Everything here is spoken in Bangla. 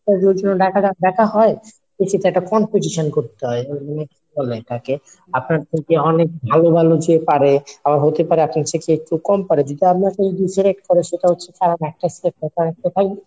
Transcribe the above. Interview এর জন্য ডাকা ডাক ডাকা হয় কিছুতো একটা competition করতে হয় এটাকে আপনার থেকে অনেক ভালো ভালো যে পারে আবার হইতে পারে আপনার থেকে একটু কম পারে। যদি আপনাকে select করে সেটা হচ্ছে কারণ একটাই সে